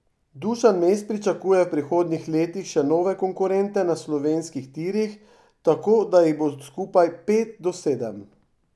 Dušan Mes pričakuje v prihodnjih letih še nove konkurente na slovenskih tirih, tako da jih bo skupaj pet do sedem.